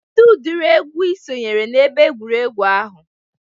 Kedụ ụdịri egwu Ị sonyere n'ebe egwuregwu ahụ?